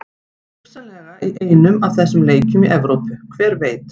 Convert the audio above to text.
Hugsanlega í einum af þessum leikjum í Evrópu, hver veit?